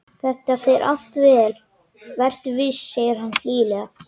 Þetta fer allt vel, vertu viss, segir hann hlýlega.